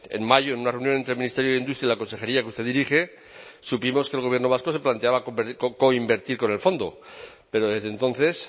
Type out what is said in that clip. en mayo en una reunión entre el ministerio de industria y la consejería que usted dirige supimos que el gobierno vasco se planteaba coinvertir con el fondo pero desde entonces